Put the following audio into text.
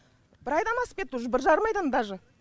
бір айдан асып кетті уже бір жарым айдан даже